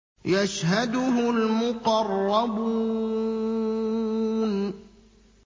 يَشْهَدُهُ الْمُقَرَّبُونَ